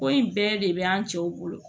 Ko in bɛɛ de bɛ an cɛw bolo